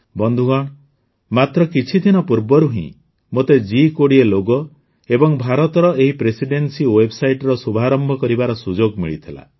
ବନ୍ଧୁଗଣ ମାତ୍ର କିଛି ଦିନ ପୂର୍ବରୁ ହିଁ ମୋତେ ଜି୨୦ ଲୋଗୋ ଏବଂ ଭାରତର ଏହି ପ୍ରେସିଡେନ୍ସି ୱେବ୍ସାଇଟ୍ର ଶୁଭାରମ୍ଭ କରିବାର ସୁଯୋଗ ମିଳିଥିଲା